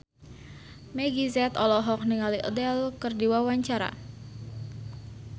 Meggie Z olohok ningali Adele keur diwawancara